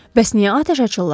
Bəs niyə atəş açırlar?